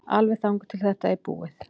Alveg þangað til að þetta er búið.